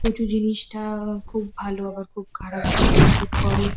কচু জিনিসটা-আ খুব ভালো আবার খুব খারাপ অনেকেই স্যুট করে।